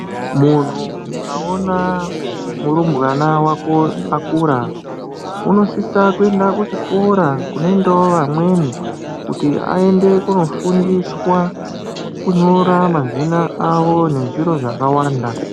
Munhu ukaona murumbwana vako akura unosise kuenda kuchikora kunoendavo vamweni aende kunofundiswa kunyora mazina avo nezvimwe zvakavanda.